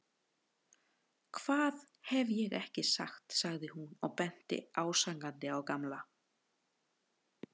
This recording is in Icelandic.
Hvað hef ég ekki sagt sagði hún og benti ásakandi á Gamla.